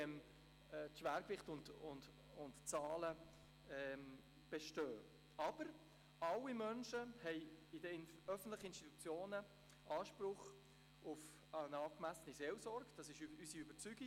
Aber alle Menschen haben in den öffentlichen Institutionen Anspruch auf eine angemessene Seelsorge, das ist unsere Überzeugung.